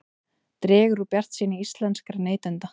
Dregur úr bjartsýni íslenskra neytenda